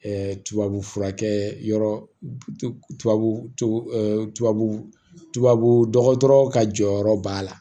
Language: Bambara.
tubabu furakɛ yɔrɔ tubabu tubabu tubabu dɔgɔtɔrɔ ka jɔyɔrɔ b'a la